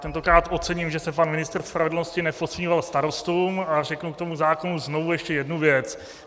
Tentokrát ocením, že se pan ministr spravedlnosti neposmíval starostům, a řeknu k tomu zákonu znovu ještě jednu věc.